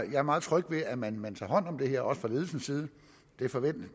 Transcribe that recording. jeg er meget tryg ved at man man tager hånd om det også fra ledelsens side